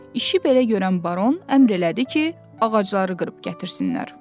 İşi belə görən baron əmr elədi ki, ağacları qırıb gətirsinlər.